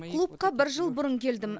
клубқа бір жыл бұрын келдім